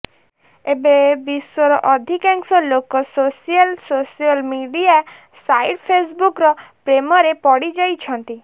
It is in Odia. ଏବେ ବିଶ୍ୱର ଅଧିକାଂଶ ଲୋକ ସୋସିଆଲ୍ ସୋସିଆଲ ମିଡିଆ ସାଇଟ୍ ଫେସବୁକର ପ୍ରେମରେ ପଡିଯାଇଛନ୍ତି